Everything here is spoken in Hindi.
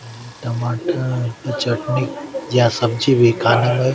यह टमाटर की चटनी या सब्जी भी खाने में --